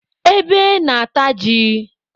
Ebe na-ata ji.